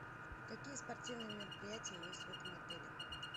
какие спортивные мероприятия есть в этом отеле